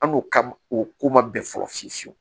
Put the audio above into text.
An n'o ka o ko man bɛn fɔlɔ fiyewu fiyewu